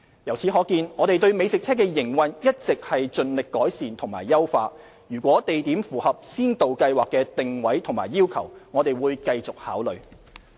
由此可見，我們對美食車的營運一直盡力改善和優化，如有地點符合先導計劃的定位和要求，我們會繼續考慮。